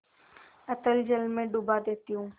अतल जल में डुबा देती हूँ